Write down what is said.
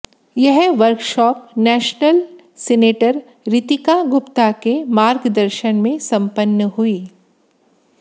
यह workshop national senator Ritika Gupta के मार्गदर्शन में संपन्न हुई